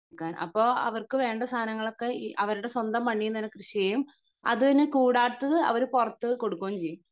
നിക്കാൻ അപ്പൊ അവർക്ക് വേണ്ട സാനങ്ങളൊക്കെ അവരുടെ സ്വന്തം മണ്ണിൽ നിന്ന് തന്നെ കൃഷി ചെയ്യും അതിന് കൂടാത്തത് അവർ പൊറത്ത് കൊടുക്കുകയും ചെയ്യും